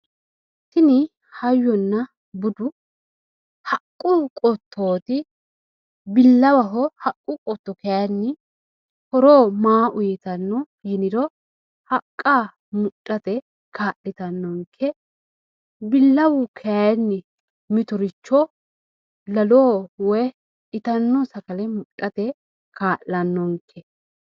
Tini hayyonna budu haqqu qottooti , bilawaho Haqqu qotto kayiini horo maa uuyiitanno yiniro Haqqa mudhate kaa'litanonke billawu kayiin mitoricho Laloho woy itanno sagale mudhate kaa'lanonke